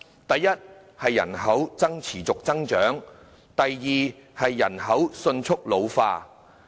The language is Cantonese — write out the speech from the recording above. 第一，是人口持續增長；第二，是人口迅速老化。